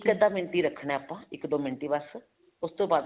ਇੱਕ ਅੱਧਾ ਮਿੰਟ ਹੀ ਰੱਖਣਾ ਹੈ ਆਪਾਂ ਇੱਕ ਦੋ ਮਿੰਟ ਹੀ ਬੱਸ ਉਸ ਤੋਂ ਬਾਅਦ